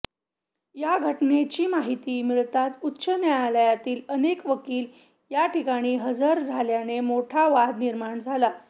या घटनेची माहिती मिळताच उच्च न्यायालयातील अनेक वकील याठिकाणी हजर झाल्याने मोठा वाद निर्माण झाला